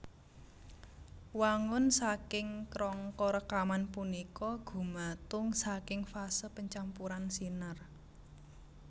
Wangun saking krangka rekaman punika gumatung saking fase pancampuran sinar